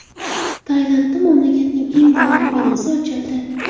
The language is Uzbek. Tailandda mamlakatning eng baland binosi ochildi .